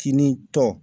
Kinin tɔn